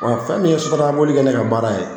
Wa fɛn min ye sotaramaboli kɛ ne ka baara ye.